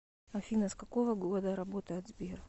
афина с какого года работает сбер